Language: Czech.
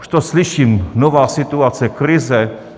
Už to slyším: nová situace, krize.